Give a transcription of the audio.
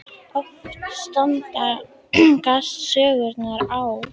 Oft stangast sögurnar á.